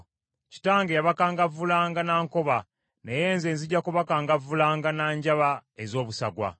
Kitange yabakangavvulanga na nkoba naye nze nzija kubakangavvulanga na njaba ez’obusagwa.’ ”